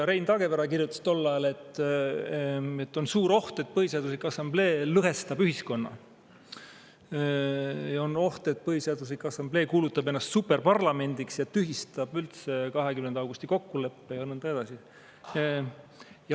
Rein Taagepera kirjutas tol ajal, et on suur oht, et Põhiseaduse Assamblee lõhestab ühiskonda, ja on oht, et Põhiseaduse Assamblee kuulutab ennast superparlamendiks, tühistab üldse 20. augusti kokkuleppe ja nõnda edasi.